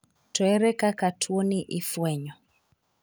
To ere kaka tuoni ifwenyo?